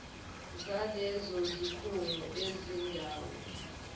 zalezo zikhungo izindawo